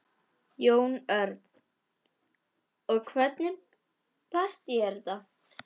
Jón Örn: Og hvernig partý er þetta?